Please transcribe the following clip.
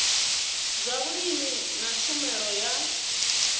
zwa vhulimi na tshumelo ya